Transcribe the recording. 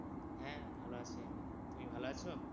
হ্যাঁ ভালো আছি, তুমি ভালো আছো?